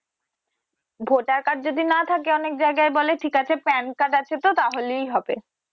voter card যদি না থাকে অনেক জায়গায় বলে ঠিক আছে Pan card আছে তো তাহলেই হবে।